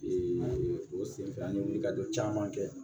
o senfɛ an ye wulikajɔ caman kɛ